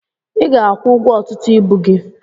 I ga akwụ ụgwọ ọtụtụ ibu gị.